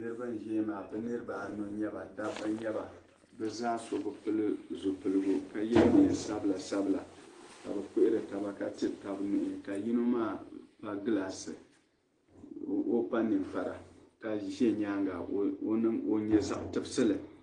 Niriba n ʒiya maa bɛ niriba anu n nyaba bɛ zaa so bi piri namda ka yɛ neen sabila sabila ka bɛ puhiri taba ka tiri taba nuhi ka yino maa kpa gilaasi ka kpa ninkpara ka ʒɛ nyaanga o nyɛ zaɣ tibisili